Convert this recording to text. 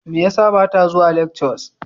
Me yasa bata zuwa lectures?